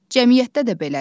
Cəmiyyətdə də belədir.